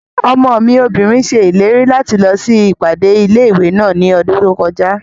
Ọmọ mi obìnrin ṣèlérí láti lọ sí ìpàdé ilé-ìwé náà ní ọdún tó kọjá